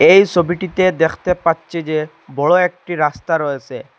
এই সবিটিতে দেখতে পাচ্চি যে বড় একটি রাস্তা রয়েসে।